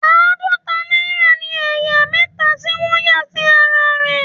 Àádọta náírà ní ẹ̀yà mẹta tí wọ́n yà sí ara rẹ̀.